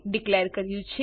declare કર્યું છે